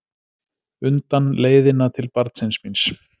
undan, leiðina til barnsins míns.